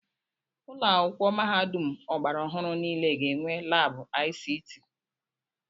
Ụlọ akwụkwọ mahadum ọgbara ọhụrụ niile ga-enwe laabụ ICT.